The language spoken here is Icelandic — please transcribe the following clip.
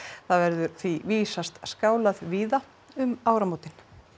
það verður því vísast skálað víða um áramótin